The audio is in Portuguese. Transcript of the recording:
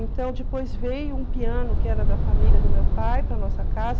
Então, depois veio um piano que era da família do meu pai para a nossa casa.